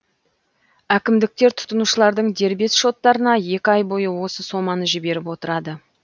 әкімдіктер тұтынушылардың дербес шоттарына екі ай бойы осы соманы жіберіп отырады